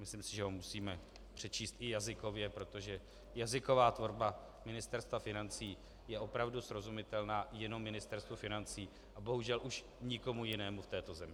Myslím si, že ho musíme přečíst i jazykově, protože jazyková tvorba Ministerstva financí je opravdu srozumitelná jenom Ministerstvu financí a bohužel už nikomu jinému v této zemi.